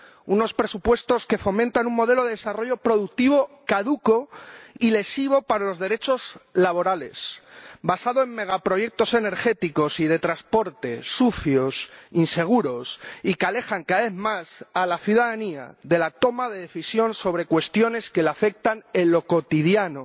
Unos presupuestos que fomentan un modelo de desarrollo productivo caduco y lesivo para los derechos laborales, basado en megaproyectos energéticos y de transporte sucios, inseguros y que alejan cada vez más a la ciudadanía de la toma de decisión sobre cuestiones que la afectan en lo cotidiano,